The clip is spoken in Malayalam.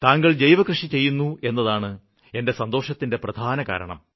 താങ്കള് ജൈവകൃഷി ചെയ്യുന്നു എന്നതാണ് എന്റെ സന്തോഷത്തിന്റെ പ്രധാന കാരണം